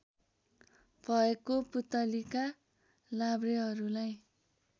भएको पुतलीका लाभ्रेहरूलाई